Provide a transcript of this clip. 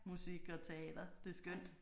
Musik og teater det er skønt